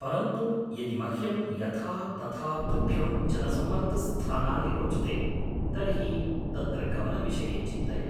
परन्तु, यदि मह्यम् यथा तथा तुभ्यं जनसम्मर्दस्थानानि रोचते तर्हि तत्र गमनविषये चिन्तय।